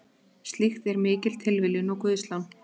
Slíkt er mikil tilviljun og guðslán.